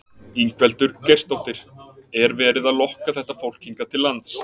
Ingveldur Geirsdóttir: Er verið að lokka þetta fólk hingað til lands?